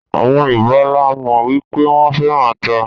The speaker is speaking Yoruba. Àwọn Yorùbá la mọ̀ wípé wón féràn ata.